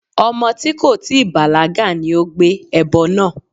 Ọmọ tí kò tíì bàlágà ni ó gbé ẹbọ náà.